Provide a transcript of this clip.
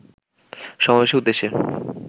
সমাবেশের উদ্দেশ্যে